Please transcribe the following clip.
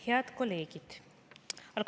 Head kolleegid!